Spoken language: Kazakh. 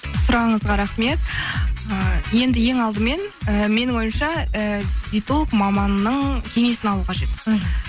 сұрағыңызға рахмет ы енді ең алдымен і менің ойымша і диетолог маманның кеңесін алу қажет мхм